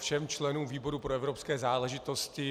Všem členům výboru pro evropské záležitosti.